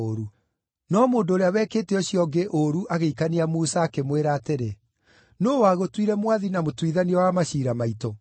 “No mũndũ ũrĩa wekĩte ũcio ũngĩ ũũru agĩikania Musa, akĩmwĩra atĩrĩ, ‘Nũũ wagũtuire mwathi na mũtuithania wa maciira maitũ?